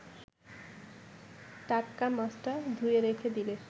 টাটকা মাছটা ধুয়ে রেখে দিলে